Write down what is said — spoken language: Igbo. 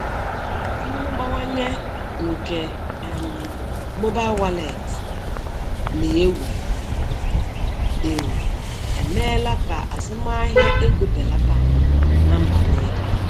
Mmụbawanye nke um mobail wọleetị na- ewu um ewu emeela ka azụmahịa ego belata na mba niile.